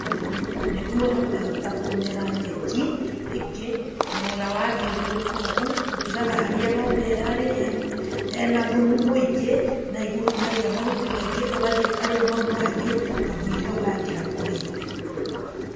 Nĩguo hakahota kũmera nyeki, ĩngĩ, nona wathiũrũrũka ũguo, ũtigaga harĩa ng'ombe ĩrarĩ hena thumu mũingĩ, nanĩguo hakagĩa mahuti maingĩ, ũgathiĩ ũkarĩa mau mangĩ kamũira hau hangĩ hakũrĩte.